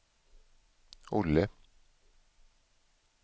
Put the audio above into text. Olle